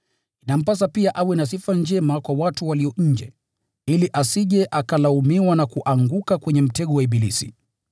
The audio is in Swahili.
Inampasa pia awe na sifa njema kwa watu walio nje, ili asije akalaumiwa na kuanguka kwenye mtego wa ibilisi.